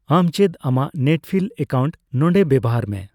ᱟᱢ ᱪᱮᱫ ᱟᱢᱟᱜ ᱱᱮᱴᱯᱷᱤᱞ ᱮᱠᱟᱩᱱᱴ ᱱᱚᱫᱮ ᱵᱮᱣᱦᱟᱨ ᱢᱮ ᱾